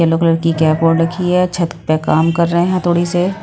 Yellow colour की cap ओढ़ रखी है छत पे काम कर रहे है थोड़ी से।